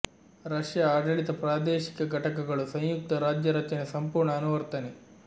Russia ಆಡಳಿತ ಪ್ರಾದೇಶಿಕ ಘಟಕಗಳು ಸಂಯುಕ್ತ ರಾಜ್ಯ ರಚನೆ ಸಂಪೂರ್ಣ ಅನುವರ್ತನೆ